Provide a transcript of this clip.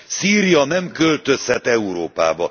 Szíria nem költözhet Európába.